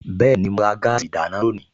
Bẹ́ẹ̀ni, mo ra gáàsì ìdáná lónìí